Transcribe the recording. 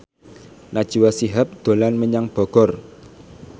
Najwa Shihab dolan menyang Bogor